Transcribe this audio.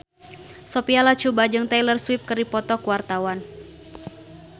Sophia Latjuba jeung Taylor Swift keur dipoto ku wartawan